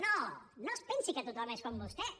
no no es pensi que tothom és com vostès